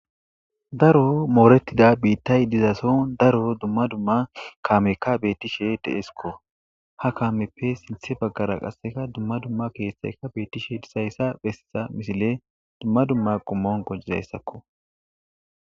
daro moorettida biittay dizaso daro dumma dumma kaamekka beettishe deesikko ha kaameppe sinthe baggara qasseka dumma dumma keethayka beettishe disayssa besssa misile dumma dumma qommon qonicizayssakko